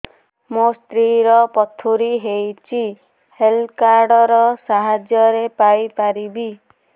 ମୋ ସ୍ତ୍ରୀ ର ପଥୁରୀ ହେଇଚି ହେଲ୍ଥ କାର୍ଡ ର ସାହାଯ୍ୟ ପାଇପାରିବି